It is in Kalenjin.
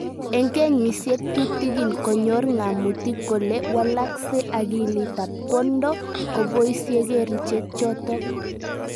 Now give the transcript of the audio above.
Eng kenyisyek tutigiin konyor ng'amutik kole walakse akilit ab kwondo ngoboisye kerichek chotok